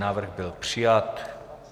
Návrh byl přijat.